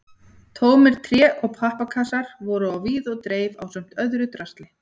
Tómir tré- og pappakassar voru á víð og dreif ásamt öðru drasli.